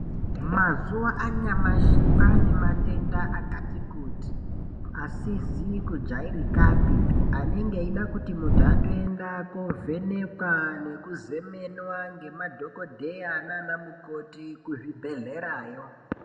Mazuva anyamashi kwane matenda akati kuti asizi kujairikapi. Anenge aida kuti muntu atoenda kovhenekwa ngekuzemenwa nemadhogodheya nana mukoti kuzvibhedhlerayo.